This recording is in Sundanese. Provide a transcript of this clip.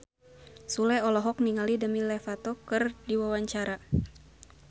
Sule olohok ningali Demi Lovato keur diwawancara